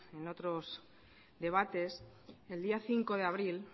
en otros debates el día cinco de abril